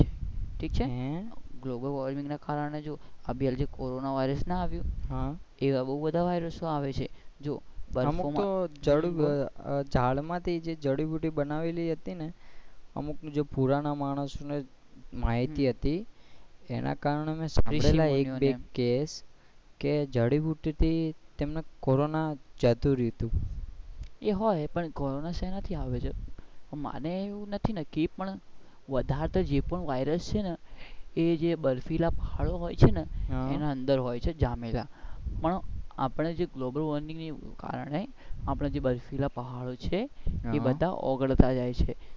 વધાર તો જે વાયરસ છે ને એ છે ને જે બરફીલા પહાડો હોય છે ને એના અંદર હોય છે જામેલા પણ આપણે જે global warming ના કારણે આપણા જે બર્ફીલા પહાડો છે એ બધા ઓગળતા જાય છે.